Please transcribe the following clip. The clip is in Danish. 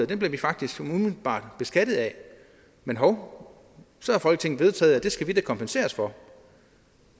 den bliver vi faktisk umiddelbart beskattet af men hov så har folketinget vedtaget at det skal vi da kompenseres for